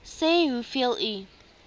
sê hoeveel u